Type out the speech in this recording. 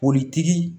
Politigi